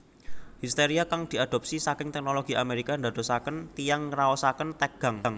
Histeria kang diadopsi saking teknologi Amerika ndadosaken tiyang ngraosaken tegang